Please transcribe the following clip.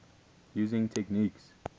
using techniques